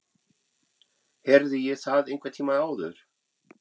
Heyrði ég það einhvern tíma áður?